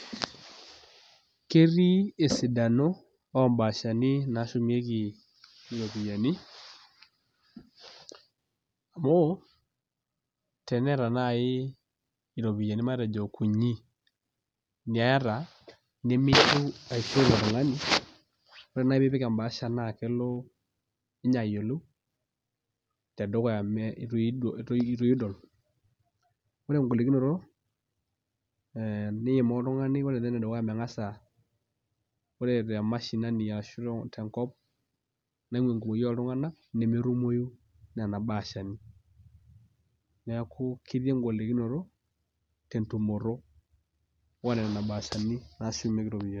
Ketii esidano ombashani nashumieki iropiyiani amu teneeta naaji matejo iropiyiani kunyik neeta nemintiu aishoo oltung'ani ore naaji piipik embaasha naa kelo ninye ayiolou tedukuya mee itu iyie idol ore engolikinoto niimaa oltung'ani ore inye enedukuya ming'asa ore te mashinani ashu tenkop naing'ua enkumoki oltung'anak nemetumoyu nena bahashani neku ketii engolikinoto tentumoto onena bahashani nashumieki iropiyiani.